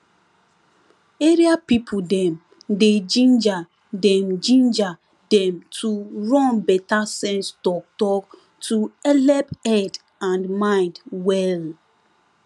area people dem dey ginger dem ginger dem to run better sense talktalk to helep head and mind well